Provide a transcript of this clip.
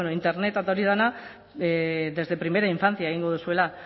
internet eta hori dena desde primera infancia egingo duzuela